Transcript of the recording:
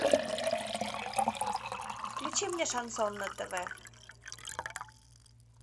включи мне шансон на тв